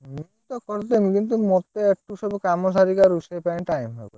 ମୁଁ ତ କରିଦେମୀ କିନ୍ତୁ ମତେ ୟାକୁ ସବୁ କାମ ସାରିକି ଆଉ ରୁଷେଇ ପାଇଁ ଆଉ time ହବନି।